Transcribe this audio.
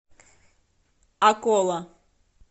акола